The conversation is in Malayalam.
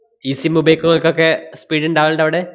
ഈ sim ഉപയോഗിക്കണോര്‍ക്കൊക്കെ speed ഇണ്ടാവലിണ്ടവടെ?